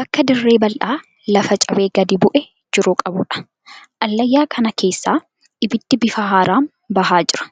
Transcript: Bakka dirree bal'aa lafa cabee gadi bu'ee jiru qabuudha. Allayyaa kana keessaa ibiddii bifa haaraan bahaa jira.